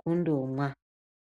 kundomwa.